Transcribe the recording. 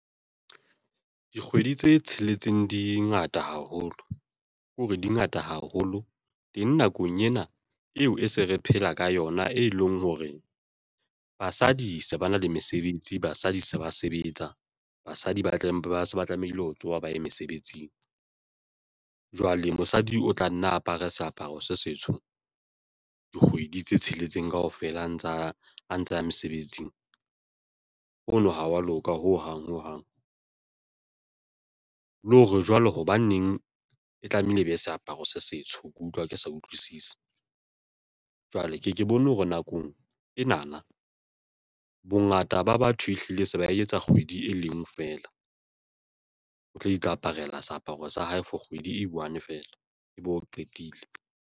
Dikgwedi tse tsheletseng dingata haholo ke hore dingata haholo teng nakong ena eo e se re phela ka yona, e leng hore basadi se ba na le mesebetsi, basadi se ba sebetsa, basadi ba tle ba se ba tlamehile ho tsoha baye mesebetsing. Jwale mosadi o tla nna apare seaparo se setsho dikgwedi tse tsheletseng kaofela a ntsa ya mesebetsing hono ha wa loka ho hang ho hang, le hore jwalo hobaneng e tlamehile e be e seaparo se setsho, ke utlwa ke sa utlwisisi, jwale ke ke bone hore nakong ena na bongata ba batho ehlile se ba etsa kgwedi e leng ngwe feela o tlo ikaparela seaparo sa hae for kgwedi ei one feela ebe o qetile.